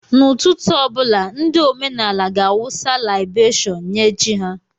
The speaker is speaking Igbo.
N'ụtụtụ ọ bụla, ndị omenaala ga-awụsa laibeshon nye chi ha.